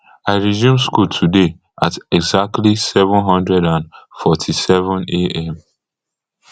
i resume school today at exactly seven hundred and forty-sevenam